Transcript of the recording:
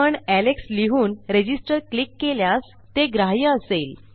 पण एलेक्स लिहून register click केल्यास ते ग्राह्य असेल